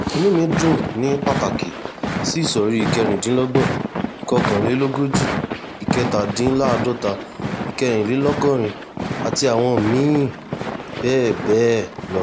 inú mi dùn ní pàtàkì sí ìsọ̀rí ìkẹrìnlélọ́gbọ̀n ìkọkànlélógójì ìkẹtàdínláàádọ́ta ìkẹrìnlélọ́gọ́rin àti àwọn mí-ín bẹ́ẹ̀ bẹ́ẹ̀ lọ